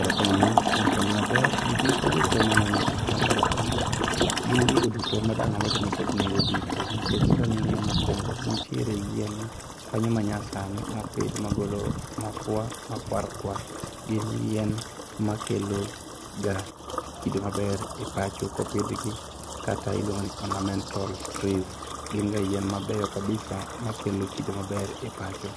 Erokamano kuom penjo maber. Gikmoko duto manene tipo machalo kamaa gin gigo duto madang' awachni nigi nengo duto nikech kang'iyo mokuongo nitiere yien kanyo manyasani mopidh magolo mafua makwarkwar, gin yien makeloga kido maber e pacho kopidhgi kata iluongoni ornamental trees. Ginga yien mabeyo kabisa makelo kido maber e pacho.